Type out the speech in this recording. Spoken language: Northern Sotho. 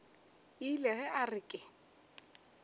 ile ge a re ke